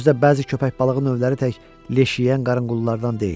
Özü də bəzi köpəkbalığı növləri tək leş yeyən qarının qullarından deyil.